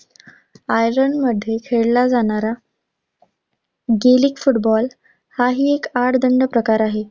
आयर्लंडमध्ये खेळला जाणारा gaelic football हा ही एक आडदांड प्रकार आहे.